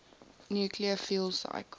nuclear fuel cycle